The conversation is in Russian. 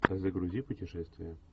загрузи путешествие